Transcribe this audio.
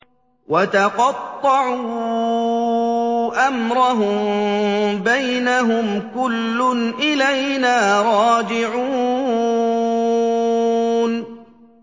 وَتَقَطَّعُوا أَمْرَهُم بَيْنَهُمْ ۖ كُلٌّ إِلَيْنَا رَاجِعُونَ